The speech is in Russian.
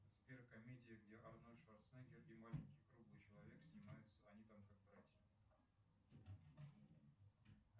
сбер комедия где арнольд шварценеггер и маленький круглый человек снимаются они там как братья